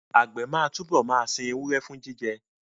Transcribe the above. Àgbẹ̀ máa túbọ̀ máa sin ewúrẹ́ fún jíjẹ